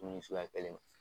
Munu ye suguya kelen